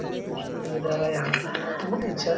काफी खूबसूरत नजारा है यहाँ का बहोत ही अच्छा है।